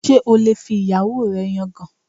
Ṣé o lè fi ìyàwó rẹ yangàn?